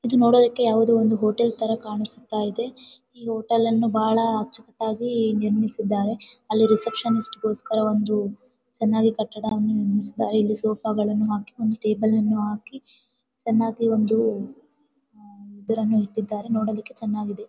ಇದು ನೋಡೋದಿಕ್ಕೆ ಯಾವುದೊ ಒಂದು ಹೋಟೆಲ್ ತರ ಕಾಣಿಸುತ್ತ ಇದೆ ಈ ಹೋಟೆಲ್ಲನ್ನು ಬಹಳ ಅಚ್ಚು ಕಟ್ಟಾಗಿ ನಿರ್ಮಿಸಿದ್ದಾರೆ ಅಲ್ಲಿ ರೆಸೆಪಿಷನಿಸ್ಟ್ ಗೋಸ್ಕರ ಒಂದು ಕಟ್ಟಡವನ್ನು ನಿರ್ಮಿಸಿದ್ದಾರೆ ಇಲ್ಲಿ ಸೋಫಾ ಗಳನ್ನೂ ಹಾಕಿ ಒಂದು ಟೇಬಲ್ ಅನ್ನು ಹಾಕಿ ಚೆನ್ನಾಗಿ ಒಂದು ಇದನ್ನು ಇಟ್ಟಿದಾರೆ ನೋಡೊದಕೆ ಚೆನ್ನಾಗಿದೆ .